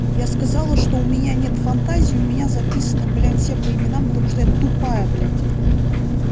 я сказала что у меня нет фантазии у меня записано блять все по именам потому что я тупая блять